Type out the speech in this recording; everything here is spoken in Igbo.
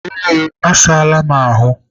Ee, Asaala m ahụ.